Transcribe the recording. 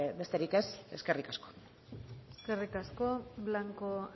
besterik ez eskerrik asko eskerrik asko blanco